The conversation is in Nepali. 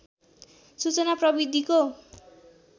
सूचना प्रविधिको